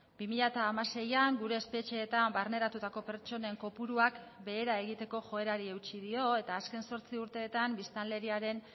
bi mila hamaseian gure espetxeetan barneratutako pertsonen kopuruak behera egiteko joerari eutsi dio eta azken zortzi urteetan biztanleriaren